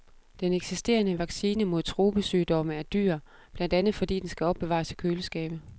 Den eksisterende vaccine mod tropesygsomme er dyr, blandt andet fordi den skal opbevares i køleskabe.